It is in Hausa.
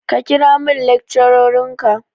Ka kira min lecturer ka.